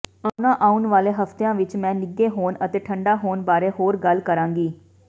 ਆਉਣਾ ਆਉਣ ਵਾਲੇ ਹਫ਼ਤਿਆਂ ਵਿੱਚ ਮੈਂ ਨਿੱਘੇ ਹੋਣ ਅਤੇ ਠੰਢਾ ਹੋਣ ਬਾਰੇ ਹੋਰ ਗੱਲ ਕਰਾਂਗੀ